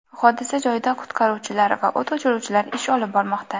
Hodisa joyida qutqaruvchilar va o‘t o‘chiruvchilar ish olib bormoqda.